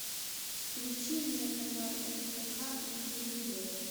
включи мне канал нхк на телевизоре